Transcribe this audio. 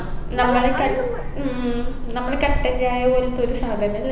നമ്മളെ കട്ട് ഉം നമ്മളെ കട്ടൻചായ പോലത്തെ ഒരു സാധനല്ലേ